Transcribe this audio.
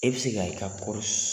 E bɛ se ka i ka kɔɔri